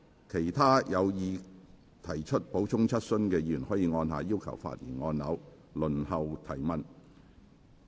其他有意提出補充質詢的議員可按下"要求發言"按鈕，輪候提問。